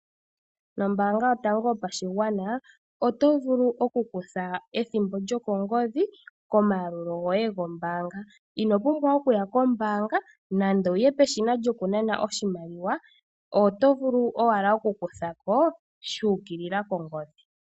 Nombaanga yotango yopashigwana, oto vulu okukutha ethimbo lyokongodhi, komayalulo goye gombaanga. Inopumbwa okuya kombaanga, nando wuye peshina lyokunana oshimaliwa, oto vulu owala okukutha ko, shu ukilila kongodhi.